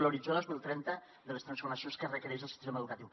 l’horitzó dos mil trenta de les transformacions que requereix el sistema educatiu